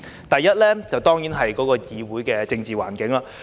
第一，當然是議會的政治環境。